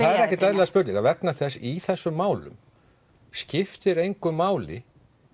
eru ekkert eðlilegar spurningar vegna þess í þessum málum skiptir engu máli